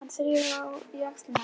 Hann þrífur í axlirnar á mér.